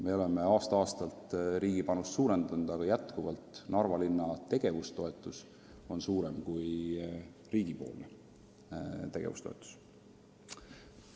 Me oleme aasta-aastalt riigi panust suurendanud, aga endiselt on Narva linna tegevustoetus suurem kui riigi tegevustoetus.